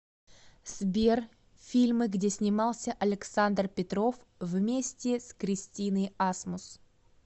сбер фильмы где снимался александр петров вместе с кристиной асмус